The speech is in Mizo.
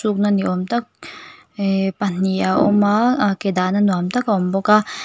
ni awm tak pahnih a awm a ke dahna nuam tak a awm bawk a.